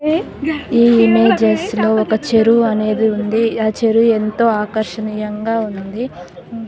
ఈ ఇమేజెస్ లో ఒక చెరువు అనేది ఉంది ఆ చెరువు ఎంతో ఆకర్షనేయంగ ఉంది --